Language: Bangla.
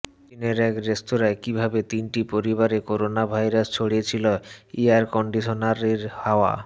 চিনের এক রেস্তোরাঁয় কীভাবে তিনটি পরিবারে করোনাভাইরাস ছড়িয়েছিল এয়ার কন্ডিশনারের হাওয়া